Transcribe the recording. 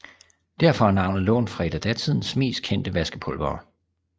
Derfor er navnet lånt fra et af datidens mest kendte vaskepulvere